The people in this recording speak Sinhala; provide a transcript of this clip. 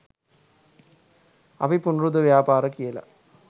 අපි පුනරුද ව්‍යාපාර කියලා